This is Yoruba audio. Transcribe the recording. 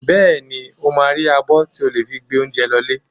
Bẹ́ẹ̀ni, ó máa rí abọ́ tí ò lè fi gbé oúnjẹ lọ lé.